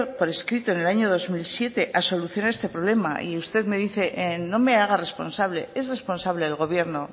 por escrito en el año dos mil siete a solucionar este problema y usted me dice no me haga responsable es responsable del gobierno